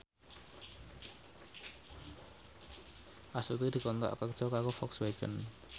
Astuti dikontrak kerja karo Volkswagen